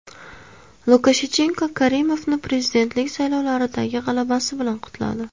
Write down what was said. Lukashenko Karimovni prezidentlik saylovlaridagi g‘alabasi bilan qutladi.